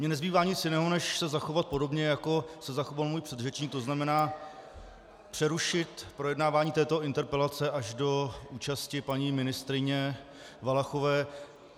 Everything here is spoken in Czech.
Mně nezbývá nic jiného, než se zachovat podobně, jako se zachoval můj předřečník, to znamená přerušit projednávání této interpelace až do účasti paní ministryně Valachové.